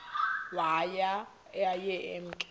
waye aye emke